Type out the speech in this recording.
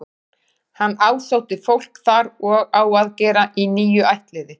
Hann ásótti fólk þar og á að gera í níu ættliði.